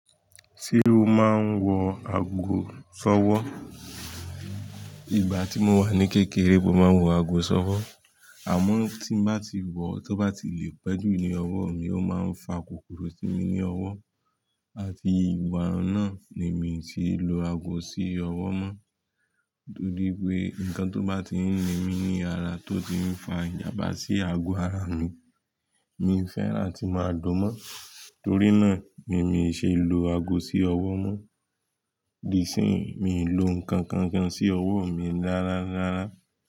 Ṣé o máa ń wọ ago sọ́wọ́? Ìgbà tí mo wà ní kékeré, mo máa ń wọ aago sọ́wọ́. Àmọ́ tí n bá ti wọ̀, tó bá ti lè pẹ́ jù ní ọwọ́ mi, ó máa ń fa kòkòrò sí mi ní ọwọ́. Àti ìgbà náà ni mi ti lò aago sí ọwọ́ mọ́. Torí pé nǹkan tó bá ti ń ni mí ní ara tó ti ń fa ìjànbá sí ago ara mi, mi fẹ́rà ki màá lo mọ́. Torí náà, ni mi ṣe lò aago sí ọwọ́ mọ́. Di sín mi lò ǹkankan sí ọwọ́ mi rárárára.